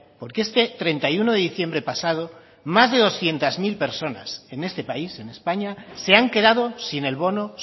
porque este treinta y uno de diciembre pasado más de doscientos mil personas en este país en españa se han quedado sin el bono